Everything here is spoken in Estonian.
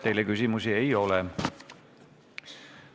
Teile küsimusi ei ole.